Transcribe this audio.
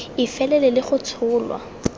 e felele le go tsholwa